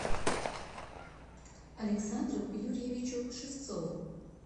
александру юрьевичу шевцову